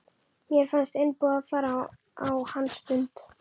Mér fannst einboðið að fara á hans fund.